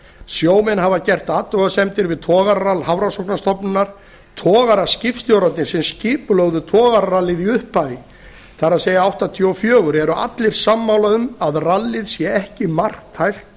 sjómenn hafa gert athugasemdir við togararall hafrannsóknastofnunar togaraskipstjórarnir sem skipulögðu togararallið í upphafi það er nítján hundruð áttatíu og fjögur eru allir sammála um að rallið sé ekki marktækt